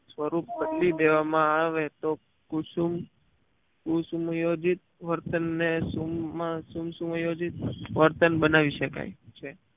સ્વરૂપ બદલી દેવા માં આવે તો કુસુ કુસુમ યોજીત વર્તન ને સુમ સુમ યોજિત વર્તન બનાવી શકાય છે